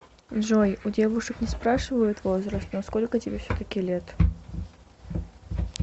джой у девушек не спрашивают возраст но сколько тебе все таки лет